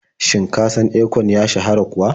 Shin ka san Akon ya shahara kuwa?